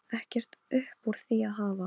Ekkert upp úr því að hafa!